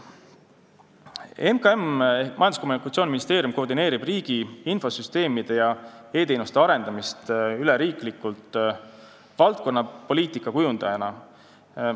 MKM ehk Majandus- ja Kommunikatsiooniministeerium koordineerib riigi infosüsteemide ja e-teenuste arendamist üleriikliku valdkonnapoliitika kujundajana.